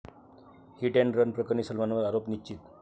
hit and run प्रकरणी सलमानवर आरोप निश्चित